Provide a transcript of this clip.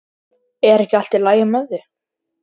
Er ekki allt í lagi með þig?